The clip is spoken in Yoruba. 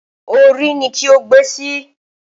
Orí ni kí o gbe sí!